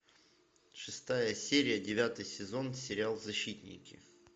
шестая серия девятый сезон сериал защитники